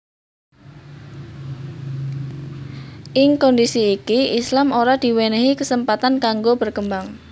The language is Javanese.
Ing kondisi iki Islam ora diwenehi kesempatan kanggo berkembang